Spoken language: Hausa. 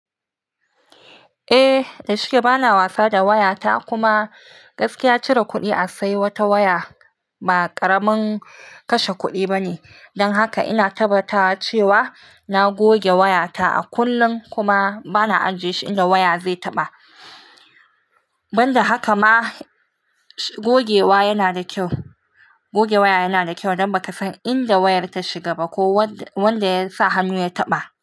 Eh, da shike bana wasa da waya ta kuma gaskiya cire kuɗi a sai wata waya ba ƙaramin kashe kuɗi bane. Don haka ina tabbatawa cewa na goge waya ta a kullun kuma bana ajiye shi inda waya zai taɓa. Ban da haka ma goge wa yana da kyau goge waya yana da kyau don baka san inda wayar ta shiga ba ko wanda ya sa hannu ya taɓa.